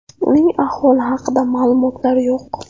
Uning ahvoli haqida ma’lumotlar yo‘q.